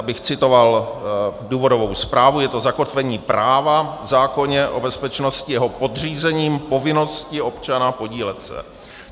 Abych citoval důvodovou zprávu, "je to zakotvení práva v zákoně o bezpečnosti jeho podřízením povinnosti občana podílet se".